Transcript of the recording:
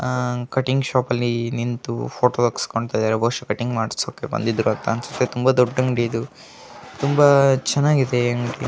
Cutting shopping ಅಲ್ಲಿ ನಿಂತು photo ತಗಸೊಂತ್ತಿದರೆ ಬಹುಷ ಕಟಿಂಗ್ ಮಾಡಸೋಕೆ ಬಂದಿರೋ ಅಂತ ಅನ್ನಸುತ್ತೆ ತುಂಬಾ ದೊಡ್ಡ ಅಂಗಡಿ ಇದು ತುಂಬಾ ಚನ್ನಾಗಿದೆ .